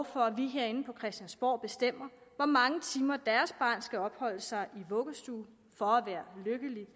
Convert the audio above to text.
for at vi herinde på christiansborg bestemmer hvor mange timer deres barn skal opholde sig i vuggestuen for at være lykkelig